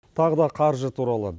тағы да қаржы туралы